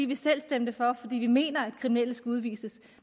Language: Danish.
vi selv stemte for fordi vi mener at kriminelle skal udvises